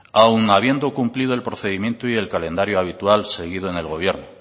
aun habiendo cumplido el procedimiento y el calendario habitual seguido en el gobierno